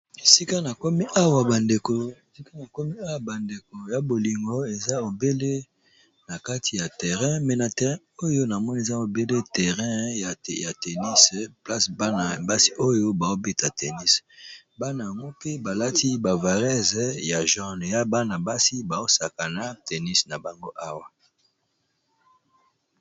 esika na komi awa bandeko ya bolingo eza obele na kati ya terrain me na terrain oyo na moni eza obele terrain ya tennis place ana basi oyo baobeta tennis. bana ymopi balati bavarese ya jorne ya bana-basi baosaka na tenis na bango awa